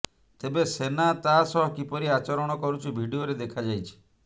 ତେବେ ସେନା ତା ସହ କିପରି ଆଚରଣ କରୁଛି ଭିଡିଓରେ ଦେଖାଯାଇଛି